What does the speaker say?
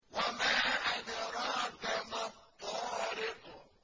وَمَا أَدْرَاكَ مَا الطَّارِقُ